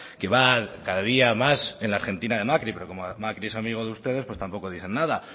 que va cada día más en argentina de macri pero como macri es amigo de ustedes pues tampoco dicen nada